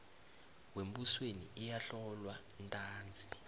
wembusweni iyahlolwa ntanzi